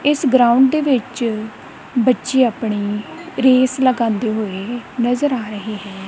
ਇਸ ਗਰਾਊਂਡ ਵਿੱਚ ਬੱਚੇ ਆਪਣੀ ਰੇਸ ਲਗਾਂਦੇ ਹੋਏ ਨਜ਼ਰ ਆ ਰਹੇ ਹੈ।